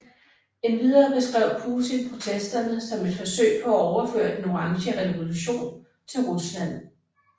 Endvidere beskrev Putin protesterne som et forsøg på at overføre Den Orange Revolution til Rusland